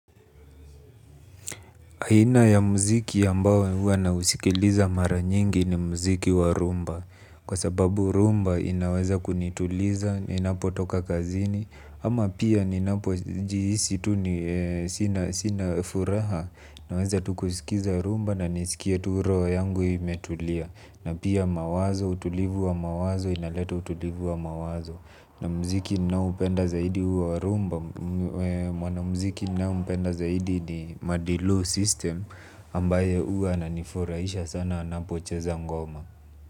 Aina ya mziki ambao huwa na usikiliza mara nyingi ni mziki wa rumba. Kwa sababu rumba inaweza kunituliza, ninapo toka kazini, ama pia ninapo jihisi tu sinafuraha naweza tukusikiliza rumba na nisikie tu roho yangu imetulia. Na pia mawazo, utulivu wa mawazo, inaleta utulivu wa mawazo. Na mziki ninao upenda zaidi huo warumba. Mwana mziki ninayempenda zaidi ni madilo system ambaye huwa ananifurahisha sana anapocheza ngoma.